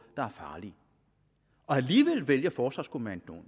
der er farlige alligevel vælger forsvarskommandoen